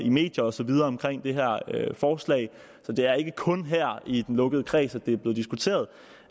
i medierne og så videre om det her forslag så det er ikke kun her i den lukkede kreds at det er blevet diskuteret